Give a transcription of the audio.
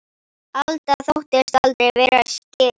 Alda þóttist aldrei vera skyggn.